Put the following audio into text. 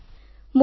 sound ବିତେ